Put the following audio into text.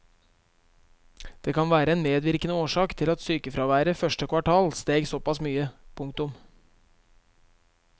Det kan være en medvirkende årsak til at sykefraværet første kvartal steg såpass mye. punktum